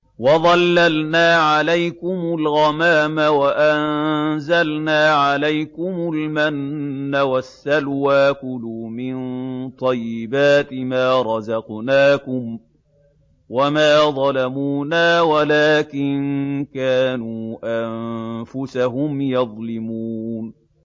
وَظَلَّلْنَا عَلَيْكُمُ الْغَمَامَ وَأَنزَلْنَا عَلَيْكُمُ الْمَنَّ وَالسَّلْوَىٰ ۖ كُلُوا مِن طَيِّبَاتِ مَا رَزَقْنَاكُمْ ۖ وَمَا ظَلَمُونَا وَلَٰكِن كَانُوا أَنفُسَهُمْ يَظْلِمُونَ